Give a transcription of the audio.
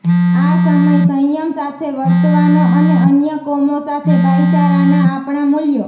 આ સમય સંયમ સાથે વર્તવાનો અને અન્ય કોમો સાથે ભાઈચારાનાં આપણાં મૂલ્યો